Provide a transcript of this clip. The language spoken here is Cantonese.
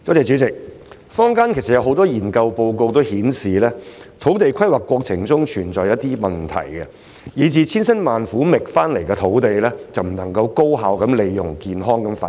主席，坊間有很多研究報告均顯示，土地規劃過程中存在一些問題，以致千辛萬苦覓得的土地不能夠被高效利用及作健康發展。